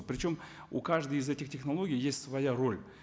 причем у каждой из этих технологий есть своя роль